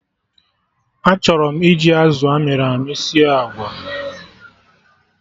Achọrọ m iji azụ amịrị amị sie agwa